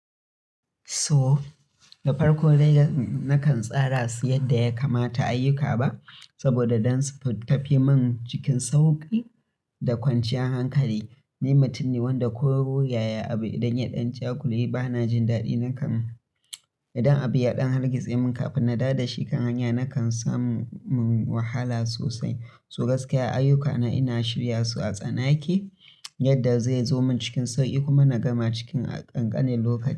To da farko dai nakan tsara su yadda ya kamata ayyuka ba saboda dan su tafi min cikin sauƙi da kwanciyar hankali. Ni mutum ne wanda koro yaya abu idan ya ɗan jagule ba na jin daɗi nakan, idan abu ya ɗan hargitse min kafin na daɗa shi kan hanya nakan samu wahala sosai. So gaskiya ayyukana ina shirya su a tsanake yadda zai zo min cikin sauƙi kuma na gama cikin ƙanƙanin lokaci.